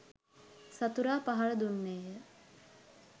සතුරා පහර දුන්නේය